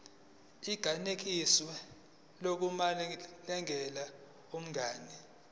inganikezswa nakumalunga omndeni